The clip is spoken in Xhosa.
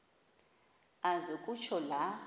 aze kutsho la